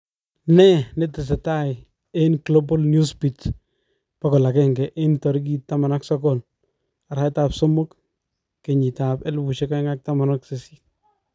Ne netesetai en Glabal Newsbeat 100 19/03/2018